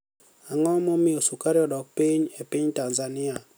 Anig'o momiyo sukari odok piniy e piniy tanizaniia